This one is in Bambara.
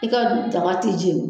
I ka daga ti jeni.